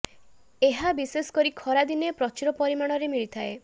ଏହା ବିଶେଷ କରି ଖରା ଦିନେ ପ୍ରଚୁର ପରିମାଣରେ ମିଳିଥାଏ